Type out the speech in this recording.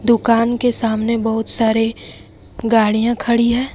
दुकान के सामने बहुत सारे गाड़ियां खड़ी है ।